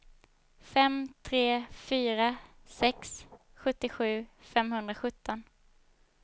fem tre fyra sex sjuttiosju femhundrasjutton